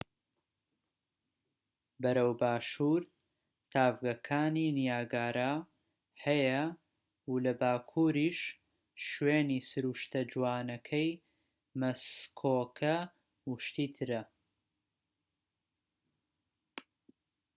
بەرەو باشور تاڤگەکانی نیاگارا هەیە و لە باکوریش شوێنی سروشتە جوانەکەی مەسکۆکە و شتی ترە